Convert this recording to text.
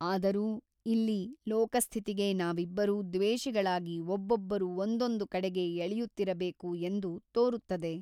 ಆದರೂ ಇಲ್ಲಿ ಲೋಕಸ್ಥಿತಿಗೆ ನಾವಿಬ್ಬರೂ ದ್ವೇಷಿಗಳಾಗಿ ಒಬ್ಬೊಬ್ಬರು ಒಂದೊಂದು ಕಡೆಗೆ ಎಳೆಯುತ್ತಿರಬೇಕು ಎಂದು ತೋರುತ್ತದೆ.